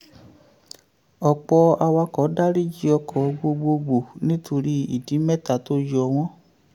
ọ̀pọ̀ awakọ̀ daríjì ọkọ̀ gbogbogbò nítorí ìdí mẹ́ta tó yọ wọ́n.